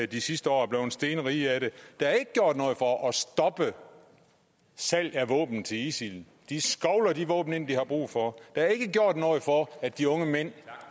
de sidste år og er blevet stenrige af det der er ikke gjort noget for at stoppe salg af våben til isil de skovler de våben ind de har brug for der er ikke gjort noget for at de unge mænd